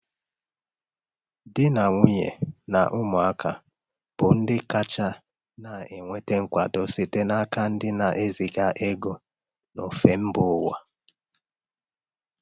Di na um nwunye na ụmụaka bụ ndị kacha anata nkwado ego site n’aka ndị na-eziga ego n’ofe mba ụwa.